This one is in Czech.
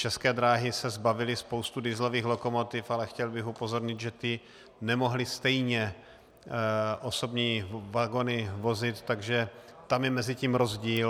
České dráhy se zbavily spousty dieselových lokomotiv, ale chtěl bych upozornit, že ty nemohly stejně osobní vagony vozit, takže tam je mezi tím rozdíl.